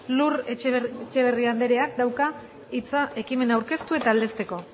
lur etxeberria andereak dauka hitza ekimena aurkeztu eta aldezteko